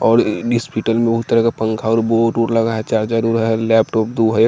और लिस्पीटल मे उह तरह का पंखा और बोड वोड लगा है चार्जर उह है लेपटॉप दु है एक--